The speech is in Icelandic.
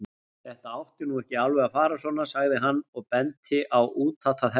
Þetta átti nú ekki alveg að fara svona, sagði hann og benti á útatað herbergið.